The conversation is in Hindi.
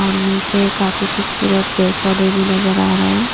और नीचे काफी खूबसूरत पेड़-पौधे भी नजर आ रहे हैं।